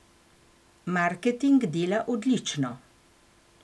Marketing dela odlično.